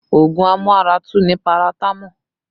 Ogun amu ara tú ni paratamo